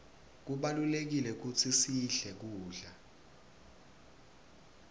kubalulekile kutsi sidle kudla